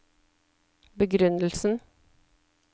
begrunnelsen